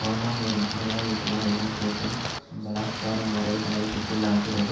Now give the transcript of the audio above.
ஆனால் ஒரு முதலாளித்துவ ஐநாயகத்தில் பலாத்கார முறை தலையீட்டுக்குள்ளாகிறது